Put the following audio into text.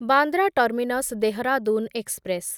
Bandra terminus Dehradun express